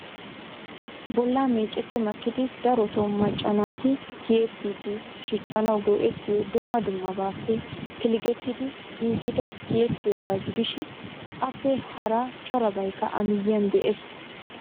Bolla meecceti makkidi darotoo macca naati tiyettidi shiccanaw go"ettiyo dumma dummabappe pilggettidi giigida tiyyeetiyooga gidishin appe hara corabaykka a miyyiyaan de'ees.